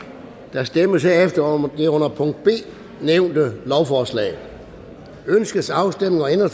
der stemmes herefter om det under b nævnte lovforslag ønskes afstemning om